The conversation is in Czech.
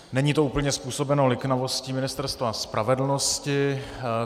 Není to úplně způsobeno liknavostí Ministerstva spravedlnosti.